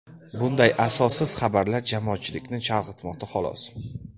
Bunday asossiz xabarlar jamoatchilikni chalg‘itmoqda xolos.